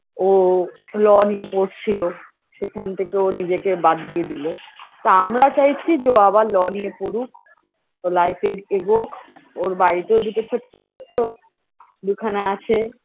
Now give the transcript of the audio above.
ও law নিয়ে পড়ছিলো সেখান থেকে ও নিজেকে বাদ দিয়ে দিল তা আমরা চাইছি যে ও আবার law নিয়ে পরুক তো life -এ এগোক ওর বাড়িতে ও দুটো ছোট্ট ছোট্ট দুখানা আছে